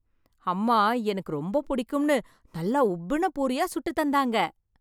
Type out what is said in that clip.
அம்மா எனக்கு ரொம்ப புடிக்கும்னு நல்லா உப்பின பூரியா சுட்டு தந்தாங்க.